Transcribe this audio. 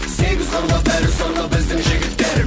сегіз қырлы бір сырлы біздің жігіттер